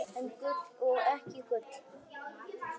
En gul og ekki gul.